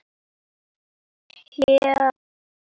Heldur fast í hönd hans.